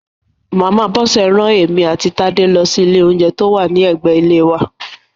Màmá Bọ́sẹ̀ rán èmi àti Tádé lọ sí ilé oúnjẹ tó wà ní ẹ̀gbẹ ilé wa